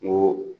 N ko